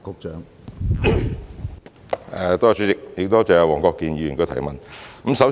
主席，多謝黃國健議員的補充質詢。